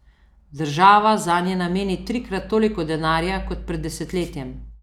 Država zanje nameni trikrat toliko denarja kot pred desetletjem.